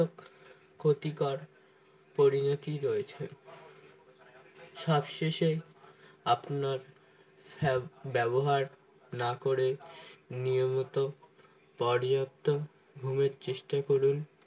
ক্ষতিকর পরিণতি রয়েছে সবশেষে আপনার হ্যাঁ ব্যবহার না করে নিয়মিত পর্যাপ্ত ঘুমের চেষ্টা করুন